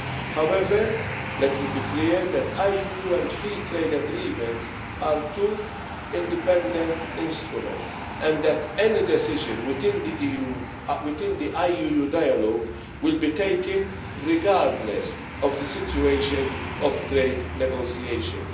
However, let me be clear that IUU and free trade agreements are two independent instruments, and that any decision within the IUU dialog will be taken regardless of the situation of trade negotiations.